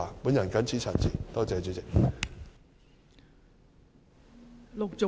我謹此陳辭，多謝代理主席。